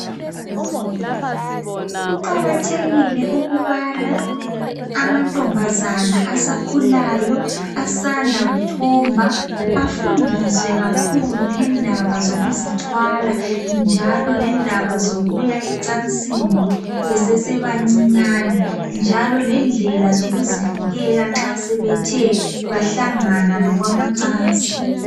Kuqakathekile ukubana amantombazana asakhulayo asanda kuthomba afundiswe kakhulu ngendaba zokuzithwala njalo ngendaba zokuya ecansini besesebancinyani, njalo lendlela zokuzivikela nxa sebethe bahlangana lokwamacansi.